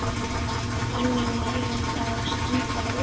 Þannig megi fá steinda glugga í alla kirkjuna í einu.